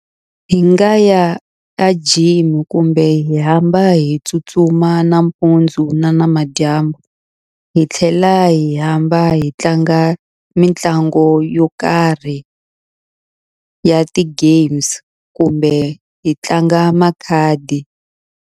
Hi nga ya a gym kumbe hi hamba hi tsutsuma nampundzu ni namadyambu, hi tlhela hi hamba hi tlanga mitlangu yo karhi ya ti-games kumbe hi tlanga makhadi.